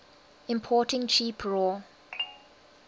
importing cheap raw